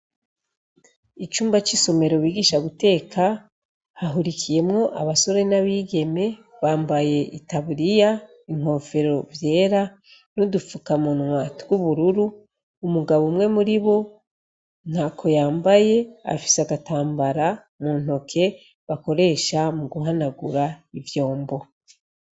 Icumba c' isomero bigisha guteka hahurikiyemwo na bigeme bambaye itaburiya n' inkofero vyera n' udupfukamunwa tw' ubururu umugabo umwe muribo ntako yambaye afise agatambara mu ntoke bakoresha muguhanagura ivyombo.